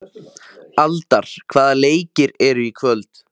Aldar, hvaða leikir eru í kvöld?